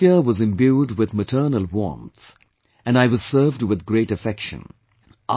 The atmosphere was imbued with maternal warmth, and I was served with great affection